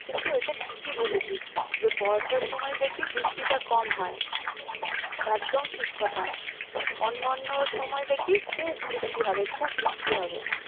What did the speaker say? কিন্তু ওইটা ঠিকই বলেছিস, যে বর্ষার সময় দেখবি বৃষ্টিটা কম হয় একদম ঠিক কথা অন্য অন্য সময় দেখবি খুব বৃষ্টি হবে খুব বৃষ্টি হবে।